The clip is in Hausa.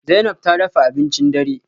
Zainab ta dafa abincin dare?